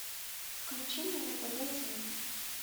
включи мне на тв зи